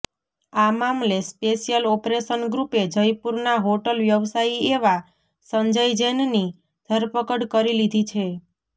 આ મામલે special operation ગ્રુપે જયપુરના હોટલ વ્યવસાયી એવા સંજય જૈનની ધરપકડ કરી લીધી છે